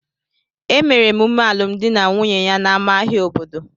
Emere emume alụmdi na nwunye ya n'ámá ahịa obodo